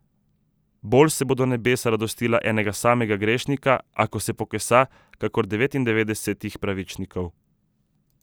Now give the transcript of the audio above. Bolj se bodo nebesa radostila enega samega grešnika, ako se pokesa, kakor devetindevetdesetih pravičnikov.